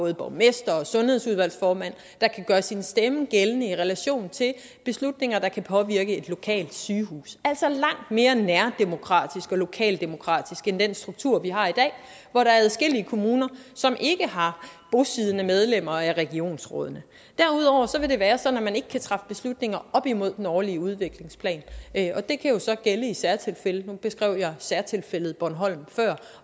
en borgmester og en sundhedsudvalgsformand der kan gøre sin stemme gældende i relation til beslutninger der kan påvirke et lokalt sygehus altså langt mere nærdemokratisk og lokaldemokratisk end den struktur vi har i dag hvor der er adskillige kommuner som ikke har bosiddende medlemmer af regionsrådene derudover vil det være sådan at man ikke kan træffe beslutninger op imod den årlige udviklingsplan og det kan jo så gælde i særtilfælde nu beskrev jeg særtilfældet bornholm før